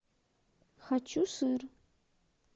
хочу сыр